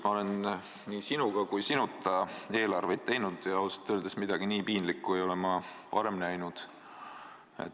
Ma olen nii sinuga kui sinuta eelarveid teinud ja ausalt öeldes midagi nii piinlikku ei ole ma varem näinud.